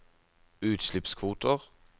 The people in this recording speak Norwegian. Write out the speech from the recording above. utslippskvoter